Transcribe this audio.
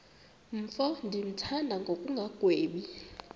mfo ndimthanda ngokungagwebi